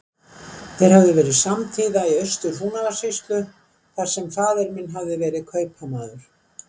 Þeir höfðu verið samtíða í Austur-Húnavatnssýslu, þar sem faðir minn hafði verið kaupamaður.